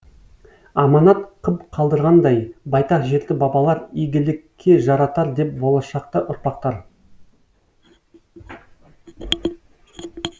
аманат қып қалдырғандай байтақ жерді бабалар игіліке жаратар деп болашақта ұрпақтар